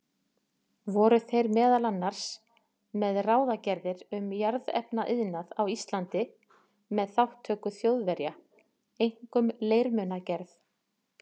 Voru þeir meðal annars með ráðagerðir um jarðefnaiðnað á Íslandi með þátttöku Þjóðverja, einkum leirmunagerð.